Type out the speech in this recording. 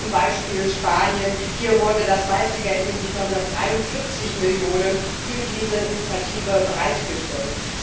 Zum Beispiel Spanien Hier wurde das meiste Geld, nämlich 943 Millionen, für diese Initiative bereitgestellt.